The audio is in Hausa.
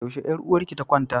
Yaushe yar uwarki ta kwanta?